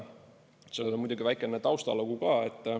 Sellel on muidugi väikene taustalugu ka.